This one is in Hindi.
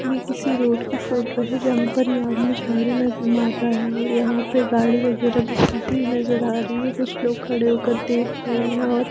ये किसी रोड की फोटो है यहां पर ये आदमी झाड़ू मार रहा है और यहां पर गाड़ी वगैरह नजर आ रही है कुछ लोग खड़े होकर देख और--